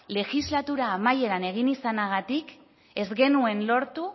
legislatura amaieran egin izanagatik ez genuen lortu